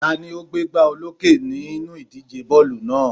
Ta ni ó gbégbá olókè nínú ìdíje bọ́ọ̀lù náà?